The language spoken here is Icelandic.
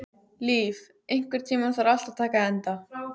Líf, einhvern tímann þarf allt að taka enda.